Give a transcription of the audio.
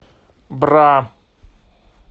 бра